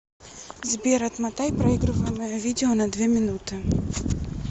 сбер отмотай проигрываемое видео на две минуты